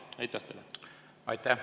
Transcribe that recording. Aitäh!